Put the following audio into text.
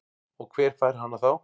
Og hver fær hana þá?